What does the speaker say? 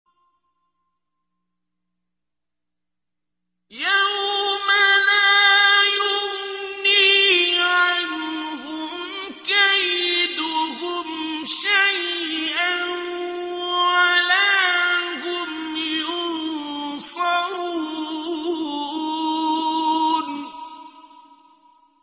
يَوْمَ لَا يُغْنِي عَنْهُمْ كَيْدُهُمْ شَيْئًا وَلَا هُمْ يُنصَرُونَ